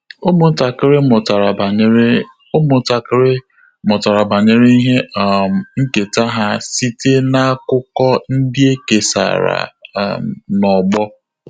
Ụ́mụ́ntàkị́rị́ mụ́tàrà banyere Ụ́mụ́ntàkị́rị́ mụ́tàrà banyere ihe um nkèta ha site n’ákụ́kọ́ ndị é kèsàrà um n’ọ́gbọ́.